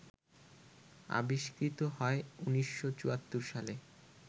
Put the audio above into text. আবিষ্কৃত হয় ১৯৭৪ সালে